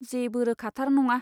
जेबो रोखाथार नङा।